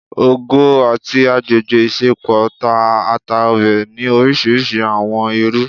ọgọ ati agbegbe isẹpo ta ata Obe ni orisirisi awọn iru